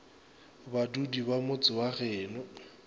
badudi ba motse wa geno